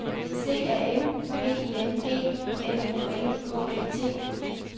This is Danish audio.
C A M P I N G F O L K E T